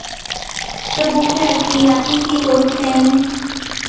তো বসে আছি আপনি কী করছেন?